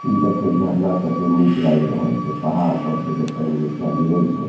इ देखीयो झरना कते नीक लाएग रहल छै पहाड़ पर से जे पेएन नीचा गिरय छै।